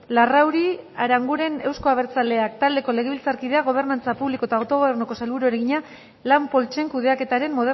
larrauri aranguren euzko abertzaleak taldeko legebiltzarkideak gobernantza publiko eta autogobernuko sailburuari egina lan poltsen kudeaketaren